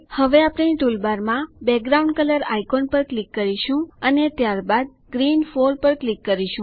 હવે ટૂલબારમાં background colour icon પર ક્લિક કરો અને ત્યારબાદ ગ્રીન 4 પર ક્લિક કરો